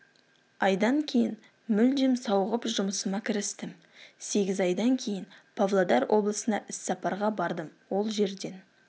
айдан кейін мүлдем сауығып шығып жұмысыма кірістім сегіз айдан кейін павлодар облысына іссапарға бардым ол жерден